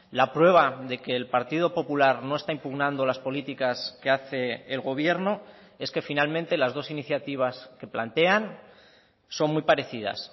la prueba de que el partido popular no está impugnando las políticas que hace el gobierno es que finalmente las dos iniciativas que plantean son muy parecidas